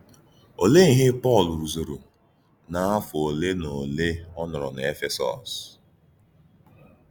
Ọ̀lee íhè Pọ́l rùzùrù n’áfọ̀ ólè na òlè ọ nòrò n’Éfèsọ́s?